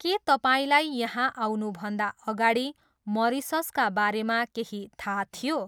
के तपाईँलाई यहाँ आउनुभन्दा अगाडि मरिससका बारेमा केही थाहा थियो?